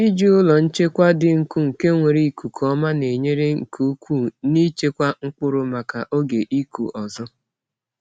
Iji ụlọ nchekwa dị nkụ nke nwere ikuku ọma na-enyere nke ukwuu n’ịchekwa mkpụrụ maka oge ịkụ ọzọ.